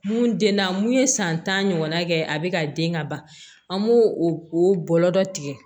Mun den na mun ye san tan ɲɔgɔn na kɛ a bɛ ka den ka ban an b'o o bɔlɔ dɔ tigɛ